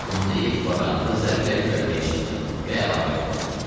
O bunu deyib kvadrantı zərblə göyərtəyə çırpdı və əlavə elədi.